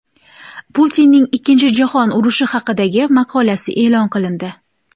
Putinning Ikkinchi jahon urushi haqidagi maqolasi e’lon qilindi.